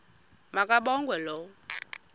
ma kabongwe low